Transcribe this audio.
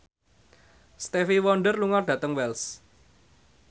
Stevie Wonder lunga dhateng Wells